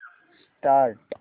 start